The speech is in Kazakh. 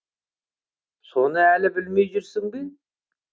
соны әлі білмей жүрсің бе